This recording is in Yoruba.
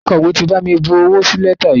Akọ̀wé ti bami bu owó sí lẹ́tà yìí.